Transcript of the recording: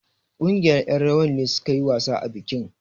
Ƙungiyar ƴan rawar ne suka yi wasa a bikin.